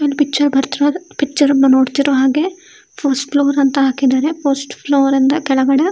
ಈ ಪಿಕ್ಚರ್ ಬರ್ತಾ ಇರೋದು ಪಿಕ್ಚರ್ ಅಲ್ಲಿ ಇರೋಹಾಗೆ ಫಸ್ಟ್ ಫ್ಲೋರ್ ಅಂತ ಹಾಕಿದ್ದಾರೆ. ಫಸ್ಟ್ ಫ್ಲೋರ್ ಅಂದ್ರೆ ಕೆಳಗಡೆ.